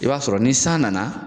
I b'a sɔrɔ ni san nana